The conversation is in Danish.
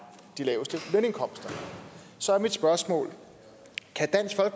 de laveste lønindkomster så er mit spørgsmål